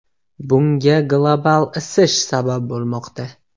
Bunga global isish sabab bo‘lmoqda.